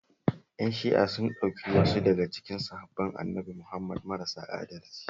Ƴan Shi'a sun ɗauki wasu daga cikin sahabban Annabi Muhammad marasa adalci